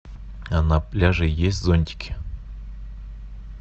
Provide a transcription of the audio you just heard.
а на пляже есть зонтики